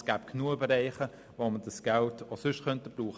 Es gäbe genügend Bereiche, wo wir dieses Geld brauchen könnten.